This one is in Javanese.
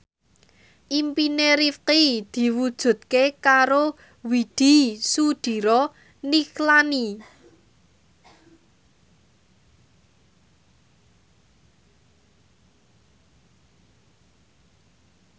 impine Rifqi diwujudke karo Widy Soediro Nichlany